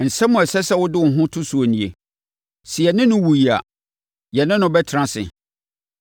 Nsɛm a ɛsɛ sɛ wode wo ho to so nie: “Sɛ yɛne no wuiɛ a, yɛne no bɛtena ase.